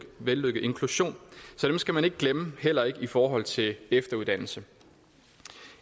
vellykket inklusion så dem skal man ikke glemme heller ikke i forhold til efteruddannelse